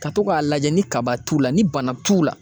Ka to k'a lajɛ ni kaba t'u la ni bana t'u la